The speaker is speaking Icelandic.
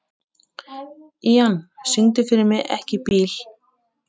Ían, syngdu fyrir mig „Ekki bíl“.